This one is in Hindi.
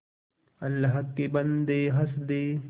अल्लाह के बन्दे हंस दे